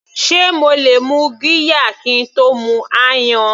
Sé mo lè mu qirya kín tó mu ayan.